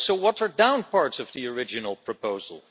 we also watered down parts of the original proposal.